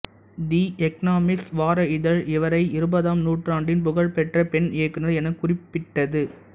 தி Economist வார இதழ் இவரை இருபதாம் நூற்றாண்டின் புகழ்பெற்ற பெண் இயக்குனர் எனக் குறிப்பிட்டது